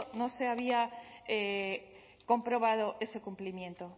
no se había comprobado ese cumplimiento